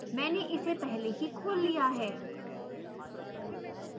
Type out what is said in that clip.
मैंने इसे पहले ही खोल लिया है